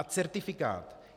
A certifikát.